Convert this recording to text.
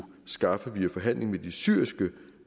skaffe via forhandling med de syriske